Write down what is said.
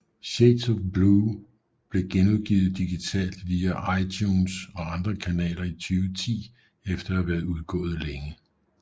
Shades of Blue blev genudgivet digitalt via iTunes og andre kanaler i 2010 efter at have været udgået længe